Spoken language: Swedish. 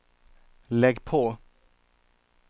lägg på